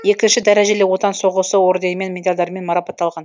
екінші дәрежелі отан соғысы орденімен медальдармен марапатталған